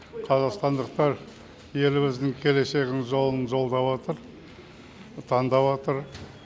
қазақстандықтар еліміздің келешегін жолын жолдаватыр таңдаватыр